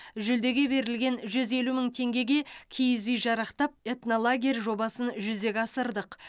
жүлдеге берілген жүз елу мың теңгеге киіз үй жарақтап этнолагерь жобасын жүзеге асырдық